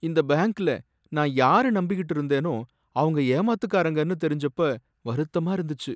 இந்த பேங்க்ல நான் யாரை நம்பிகிட்டு இருந்தேனோ அவங்க ஏமாத்துக்காரங்கனு தெரிஞ்சப்ப வருத்தமா இருந்துச்சு.